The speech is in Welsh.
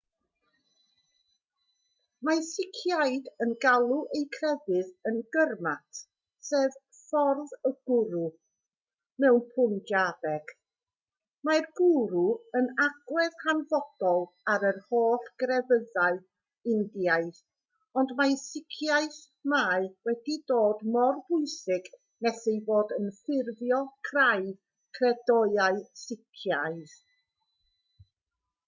mae siciaid yn galw eu crefydd yn gurmat sef ffordd y gwrw mewn pwnjabeg mae'r gwrw yn agwedd hanfodol ar yr holl grefyddau indiaidd ond mewn siciaeth mae wedi dod mor bwysig nes ei fod yn ffurfio craidd credoau sicaidd